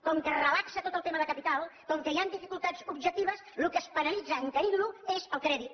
com que es relaxa tot el tema de capital com que hi han dificultats objectives el que es penalitza encarint lo és el crèdit